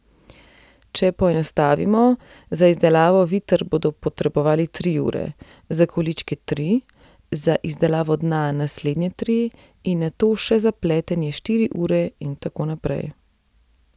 Če poenostavimo, za izdelavo viter bodo potrebovali tri ure, za količke tri, za izdelavo dna naslednje tri in nato še za pletenje štiri ure in tako naprej.